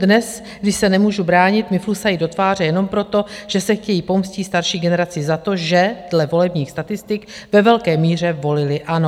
Dnes, kdy se nemůžu bránit, mi flusají do tváře jenom proto, že se chtějí pomstít starší generaci za to, že, dle volebních statistik, ve velké míře volili ANO.